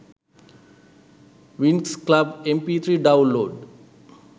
winx club mp3 download